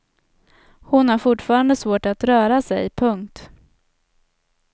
Hon har fortfarande svårt att röra sig. punkt